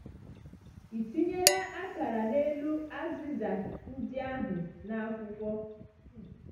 Ị tinyela akara n’elu azịza ndị ahụ n’akwụkwọ?